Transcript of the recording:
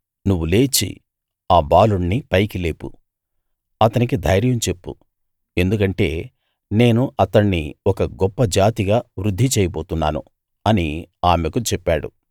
నువ్వు లేచి ఆ బాలుణ్ణి పైకి లేపు అతనికి ధైర్యం చెప్పు ఎందుకంటే నేను అతణ్ణి ఒక గొప్ప జాతిగా వృద్ది చేయబోతున్నాను అని ఆమెకు చెప్పాడు